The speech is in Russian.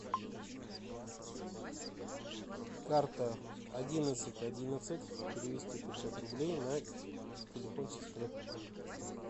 карта одиннадцать одиннадцать перевести пятьсот рублей на телефон сестры